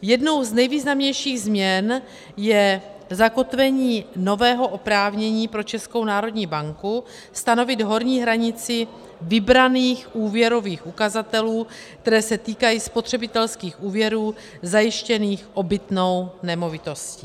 Jednou z nejvýznamnějších změn je zakotvení nového oprávnění pro Českou národní banku stanovit horní hranici vybraných úvěrových ukazatelů, které se týkají spotřebitelských úvěrů zajištěných obytnou nemovitostí.